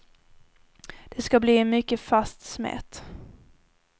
Det ska bli en mycket fast smet.